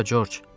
Hara, Corc?